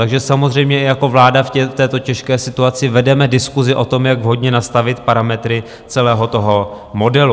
Takže samozřejmě jako vláda v této těžké situaci vedeme diskusi o tom, jak vhodně nastavit parametry celého toho modelu.